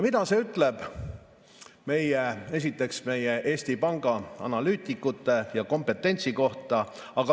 Mida see ütleb meie Eesti Panga analüütikute ja nende kompetentsi kohta?